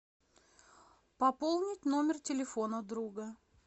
пополнить номер телефона друга